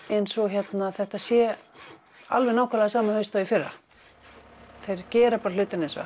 eins og þetta sé alveg eins haust og í fyrra þeir gera bara hlutina eins og